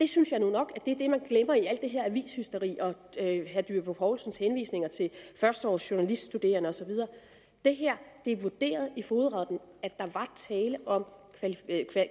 synes jeg nok er det man glemmer i alt det her avishysteri og herre dyrby paulsens henvisninger til førsteårsjournaliststuderende og så videre det er vurderet i fogedretten at der var tale om